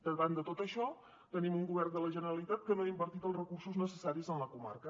davant de tot això tenim un govern de la generalitat que no ha invertit els recursos necessaris en la comarca